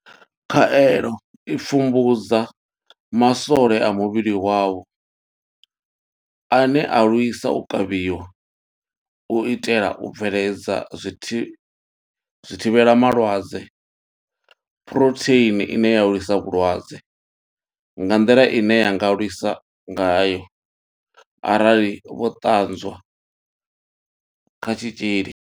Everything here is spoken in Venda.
Khaelo i pfumbudza maswole a muvhili wavho ane a lwisa u kavhiwa, u itela u bveledza zwithivhela malwadze phurotheini ine ya lwisa vhulwadze nga nḓila ine ya nga lwisa ngayo arali vho ṱanzwa kha tshitzhili.